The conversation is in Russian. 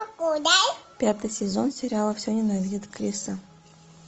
пятый сезон сериала все ненавидят криса